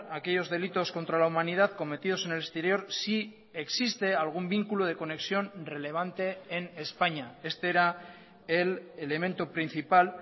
aquellos delitos contra la humanidad cometidos en el exterior si existe algún vínculo de conexión relevante en españa este era el elemento principal